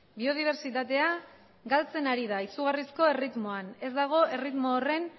biodibertsitatea galtzen ari da izugarrizko erritmoan ez dago erritmo horren